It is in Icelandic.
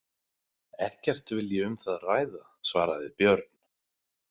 Ekkert vil ég um það ræða, svaraði Björn.